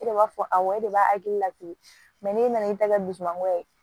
E de b'a fɔ awɔ e de b'a hakili latigɛ n'e nan'i ta kɛ dusumangoya ye